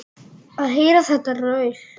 Að heyra þetta raul.